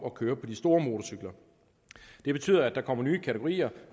at køre på de store motorcykler det betyder at der kommer nye kategorier